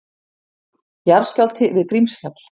Jarðskjálfti við Grímsfjall